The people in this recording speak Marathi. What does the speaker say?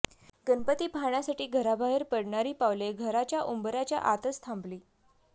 गणपती पाहण्यासाठी घराबाहेर पडणारी पावले घराच्या उंबऱ्याच्या आतच थांबली